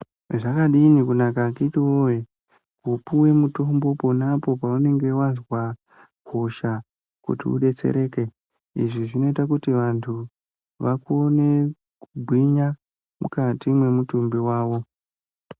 Zvakadini kunaka akiti woye kupuwe mutombo ponapo paunenge wazwe hosha kuti udetsereke izvi zvinoita kuti vanhu vakone kugwinya mukati mwemutumbi wavo.